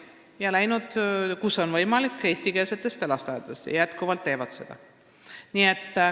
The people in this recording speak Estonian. Nad on läinud, kus võimalik, eestikeelsetesse lasteaedadesse ja teevad seda jätkuvalt.